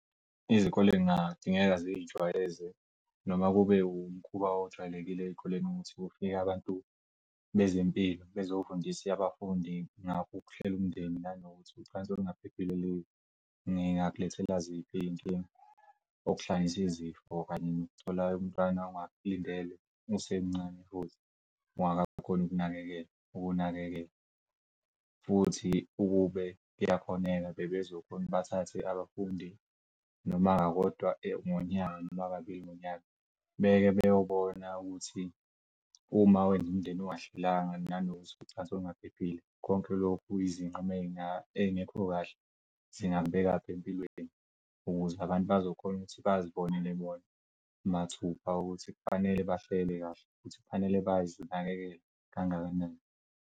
Izikole kungadingeka zizijwayeze noma kube umkhuba ojwayelekile ey'koleni ukuthi kufike abantu bezempilo bezofundisa abafundi ngokuhlela umndeni nanokuthi ucansi olungaphephile lengakulethela ziphi iy'nkinga, okuhlanganis'izifo kanye nokuthola umntwana ungamlindele usemncane futhi ungakakhoni ukumnakekela ukuwunakekela. Futhi ukube kuyakhoneka bebezokhona ukuthi bathathe abafundi noma kakodwa ngonyaka noma kabili ngonyaka, beke beyobona ukuthi uma wenza umndeni ungahlelanga nanokuthi ucansi olungaphephile konke lokhu nezinqumo ey'ngekho kahle zingangibekaphi empilweni kuze abantu bazokhona ukuthi bazibonele bona mathupha ukuthi kufanele bahlele kahle ukuthi kufanele bayazinakekele kangakanani.